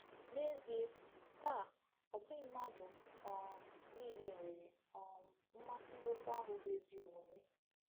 N’ezie, taa, ọ bụghị mmadụ um niile nwere um mmasị n’okwu ahụ bụ́ “ezi omume.”